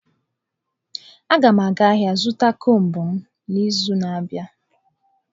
Agam aga ahia zuta combụ m n'izu na-abia.